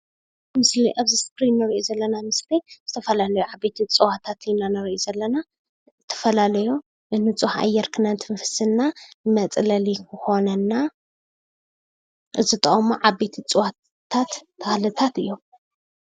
እዚ ኣብዚ እስክሪን እንሪኦ ዘለና ምስሊ ዝተፈላለዩ ዓበይቲ እፅዋታት ንርኢ ዘለና፡፡ ዝተፈላለዩ ብንፁህ ኣየር ክነስትንፍስ እና መፅለሊ ክኮነና ዝጠቅሙ ዓበይቲ እፅዋታት ተክልታት እዮም፡፡